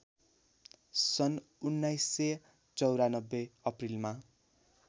सन् १९९४ अप्रिलमा